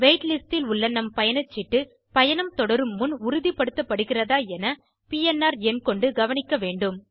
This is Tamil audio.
வெய்ட் லிஸ்ட் இல் உள்ள நம் பயணச்சீட்டு பயணம் தொடரும் முன் உறுதுபடுத்தப்படுகிறதா என பிஎன்ஆர் எண் கொண்டு கவனிக்க வேண்டும்